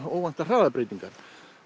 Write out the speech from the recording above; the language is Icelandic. óvæntar hraðabreytingar